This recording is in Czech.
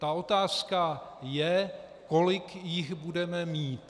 Ta otázka je, kolik jich budeme mít.